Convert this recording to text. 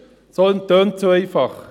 Das tönt so einfach.